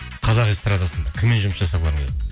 қазақ эстардасында кіммен жұмыс жасағыларың келеді